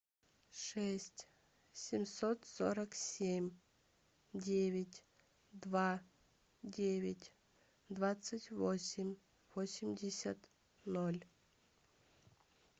шесть семьсот сорок семь девять два девять двадцать восемь восемьдесят ноль